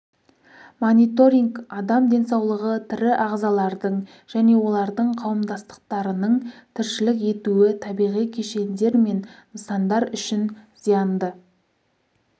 мониторинг адам денсаулығы тірі ағзалардың және олардың қауымдастықтарының тіршілік етуі табиғи кешендер мен нысандар үшін зиянды